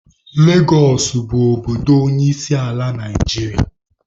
Legosụ bụ obodo onyeisiala Naijiria.